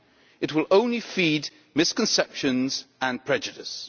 It will only feed misconceptions and prejudice.